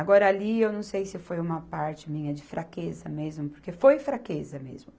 Agora, ali eu não sei se foi uma parte minha de fraqueza mesmo, porque foi fraqueza mesmo.